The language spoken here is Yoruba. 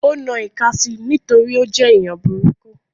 Ó na ìka si nítorí ó jẹ́ èèyàn burúkú